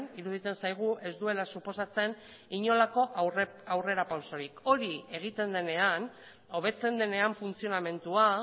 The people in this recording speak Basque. iruditzen zaigu ez duela suposatzen inolako aurrerapausorik hori egiten denean hobetzen denean funtzionamendua